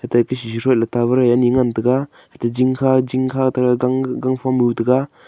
etaika shishi shui le tower ani ngantaga aate jingkha jingkha taga gang gangphom muh taga.